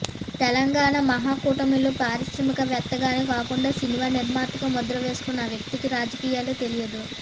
తెలంగాణ మహాకూటమిలో పారిశ్రామిక వేత్తగానే కాకుండా సినిమా నిర్మాతగా ముద్ర వేసుకున్న ఆ వ్యక్తికి రాజకీయాలే తెలియదు